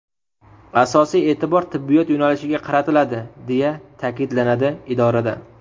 Asosiy e’tibor tibbiyot yo‘nalishiga qaratiladi”, deya ta’kidlanadi idorada.